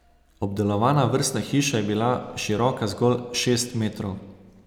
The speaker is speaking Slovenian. Obdelovana vrstna hiša je bila široka zgolj šest metrov.